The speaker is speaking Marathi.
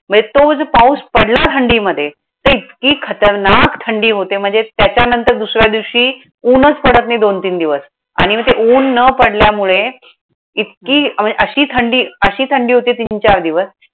म्हणजे तो जर पाऊस पडला थंडीमध्ये, तर इतकी खतरनाक थंडी होते. म्हणजे त्याच्यानंतर दुसऱ्या दिवशी उन्हंच पडत नाही दोन तीन दिवस. आणि मग ते उन्ह न पडल्यामुळे इतकी म्हणजे अशी थंडी अशी थंडी होते तीन चार दिवस.